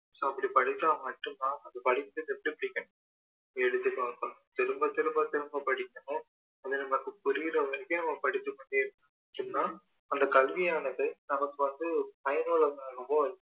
so அப்படி படிச்சா மட்டும் தான் அது எழுதி பார்க்கணும் திரும்ப திரும்ப திரும்ப படிக்கணும் அது நமக்கு புரியிற வரைக்கும் பிடிக்கிற வரைக்கும் படிச்சு கொண்டே இருக்கணும் படிச்சோம்னா அந்த கல்வியானது நமக்கு பயனுள்ளதாவோ இருக்கும்